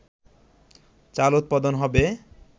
চাল উৎপাদন হবে